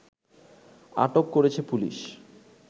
আটক করেছে পুলিশ